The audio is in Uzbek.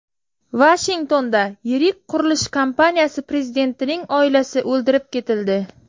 Vashingtonda yirik qurilish kompaniyasi prezidentining oilasi o‘ldirib ketildi.